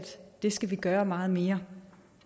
det skal vi gøre meget mere